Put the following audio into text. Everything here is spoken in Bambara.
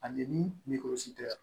Ani ni tɛ yan